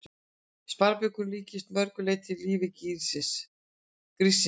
Sparibaukurinn líkist að mörg leyti lífi gríssins.